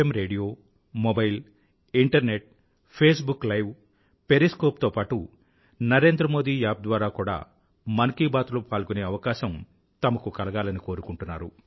radio mobile internet Facebook live periscope తో పాటూ Narendra Modi app ద్వారా కూడా మన్ కీ బాత్ లో పాల్గొనే అవకాశం తమకు కలగాలని కోరుకుంటున్నారు